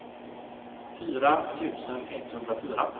fyra tusen etthundrafyra